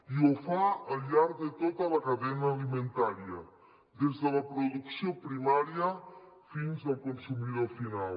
i ho fa al llarg de tota la cadena alimentària des de la producció primària fins al consumidor final